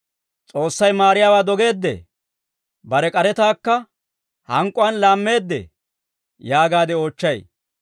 S'oossay maariyaawaa dogeeddee? Bare k'aretaakka hank'k'uwaan laammeedee?» yaagaade oochchay.